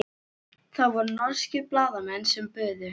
Það voru norskir blaðamenn sem buðu.